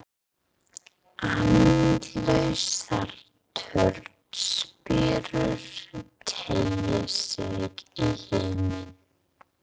Andlausar turnspírur teygja sig í himin.